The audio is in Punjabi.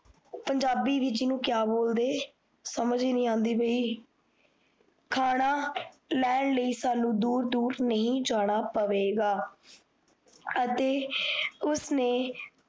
ਪੰਜਾਬੀ ਵਿਚ ਇਸਨੂੰ ਕੀਆ ਬੋਲਦੇ ਸਮਝ ਹੀ ਨੀ ਆਂਦੀ ਪੀ ਖਾਨਾ ਲੈਣ ਲਾਇ ਸਾਨੂ ਦੂਰ ਦੂਰ ਨਹੀ ਜਾਣਾ ਪਵੇਗਾ ਅਤੇ ਉਸਨੇ